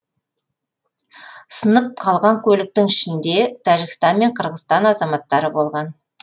сынып қалған көліктің ішінде тәжікстан мен қырғызстан азаматтары болған